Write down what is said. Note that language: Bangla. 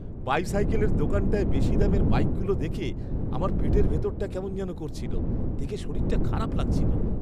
বাইসাইকেলের দোকানটায় বেশি দামের বাইকগুলো দেখে আমার পেটের ভেতরটা কেমন যেন করছিল। দেখে শরীরটা খারাপ লাগছিল।